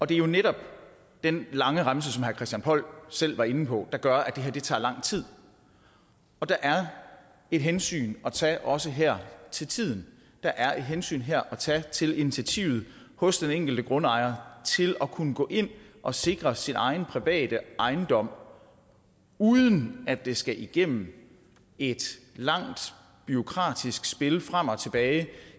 det er jo netop den lange remse som herre christian poll selv var inde på der gør at det her tager lang tid og der er et hensyn at tage også her til tiden der er et hensyn her at tage til initiativet hos den enkelte grundejer til at kunne gå ind og sikre sin egen private ejendom uden at det skal igennem et langt bureaukratisk spil frem og tilbage